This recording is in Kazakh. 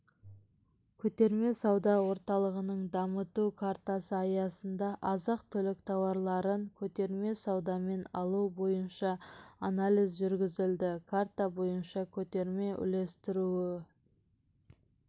көтерме-сауда орталығын дамыту картасы аясында азық-түлік тауарларын көтерме саудамен алу бойынша анализ жүргізілді карта бойынша көтерме-үлестіру